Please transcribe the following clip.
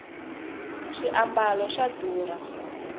swiambalo swa durha